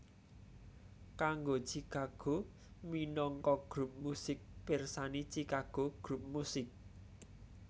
Kanggo Chicago minangka grup musik pirsani Chicago grup musik